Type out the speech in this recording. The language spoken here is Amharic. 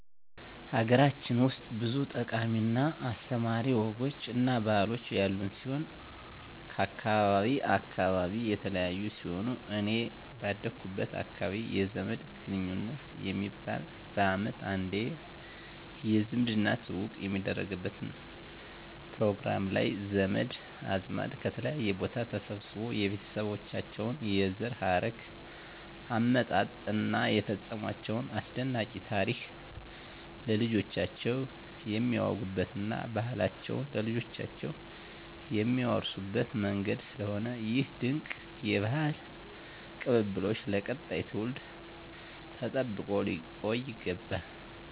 ሀገራችን ውስጥ ብዙ ጠቃሚ እና አስተማሪ ወጎች እና ባህሎች ያሉን ሲሆን ከአካባቢ አካባቢ የተለያዩ ሲሆን እኔ ባደኩበት አካባቢ የዘመድ ግንኙት የሚባል በአመት አንዴ የዝምድና ትውውቅ የሚደረግበት ፕሮግራም ላይ ዘመድ አዝማድ ከተለያየ ቦታ ተሰባስቦ የቤተሰባቸውን የዘር ሀረግ አመጣጥ እና የፈፀሟቸውን አስደናቂ ታሪክ ለልጆቻቸው የሚያወጉበት እና ባህላቸውን ለልጆቻቸው የሚያወርሱበት መንገድ ስለሆነ ይህ ድንቅ የባህል ቅብብሎሽ ለቀጣዩ ትውልድ ተጠብቆ ሊቆይ ይገባል።